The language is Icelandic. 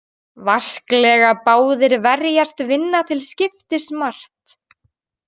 Vasklega báðir verjast vinna til skiptis margt.